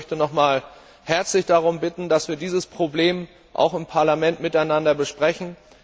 Ich möchte herzlich darum bitten, dass wir dieses Problem auch im Parlament miteinander besprechen.